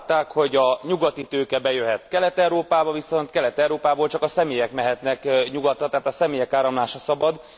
Azt látták, hogy a nyugati tőke bejöhet Kelet Európába, viszont Kelet Európából csak a személyek mehetnek nyugatra, tehát a személyek áramlása szabad.